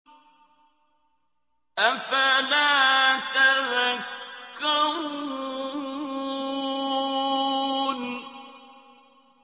أَفَلَا تَذَكَّرُونَ